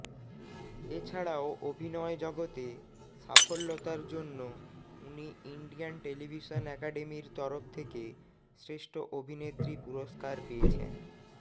এছাড়াও অভিনয় জগতে সাফল্যতার জন্য উনি ইন্ডিয়ান টেলিভিশন একাডেমির তরফ থেকে শ্ৰেষ্ঠ অভিনেত্রী পুরস্কার পেয়েছেন